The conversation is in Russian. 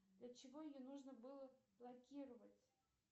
для чего ее нужно было блокировать